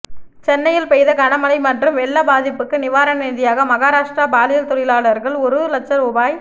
சென்னையில் பெய்த கனமழை மற்றும் வெள்ள பாதிப்புக்கு நிவாரண நிதியாக மகாராஷ்டிர பாலியல் தொழிலாளர்கள் ஒரு லட்ச ரூபாய்